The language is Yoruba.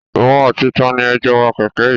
Ìwọ àti tani ẹ jó ń wa kèké yìí?